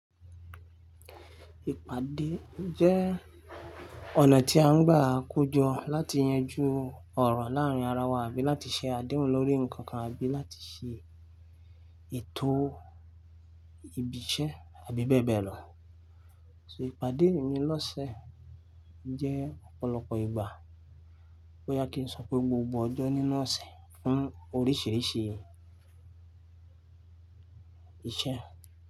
Ìpàdé jẹ́ ọ̀nà tí a ń gbà kojọ láti yanjú ọ̀rọ̀ láàárín ara wa àbí láti ṣe àdéhùn lórí nǹkan kan àbí láti ṣe ètò ibiṣẹ́ àbí bẹ́ẹ̀ bẹ́ẹ̀ lọ. So ìpàdé mi lọ́sẹ̀ jẹ́ ọ̀pọ̀lọpọ̀ ìgbà, bóyá kí n sọ pé gbogbo ọjọ́ nínú ọ̀sẹ̀ fún oríṣìíríṣìí iṣẹ́